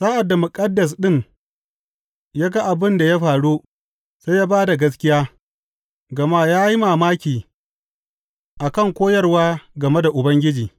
Sa’ad da muƙaddas ɗin ya ga abin da ya faru, sai ya ba da gaskiya, gama ya yi mamaki a kan da koyarwa game Ubangiji.